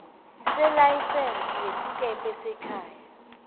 selayisense yesikebhe sekhaya